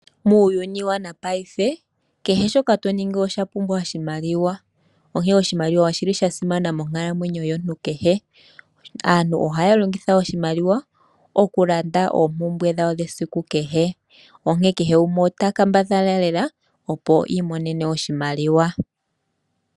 Muuyuni wopaife kehe shoka to ningi oshapumbwa oshimaliwa onkene oshimaliwa oshi li sha simana monkalamwenyo yomuntu kehe. Aantu ohaya longitha oshimaliwa okulanda oompumbwe dhawo dhesiku kehe onkene kehe gumwe ota kambadhala lela opo i imonene oshimaliwa.